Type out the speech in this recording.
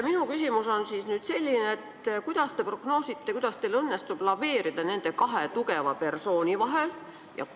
Minu küsimus on nüüd selline: kuidas te prognoosite, kuidas teil õnnestub laveerida nende kahe tugeva persooni vahel?